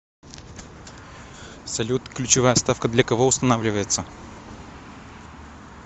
салют ключевая ставка для кого устанавливается